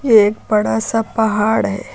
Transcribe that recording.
एक बड़ा सा पहाड़ है।